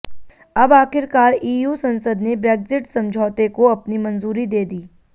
अब आखिरकार ईयू संसद ने ब्रेग्जिट समझौते को अपनी मंजूरी दे दी